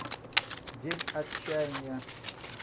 день отчаяния